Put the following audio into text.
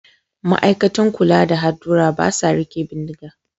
Ma'aikatan kula da hadurra ba sa riƙe bindiga